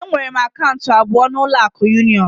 Enwere m akaụntụ abụọ na ụlọ akụ union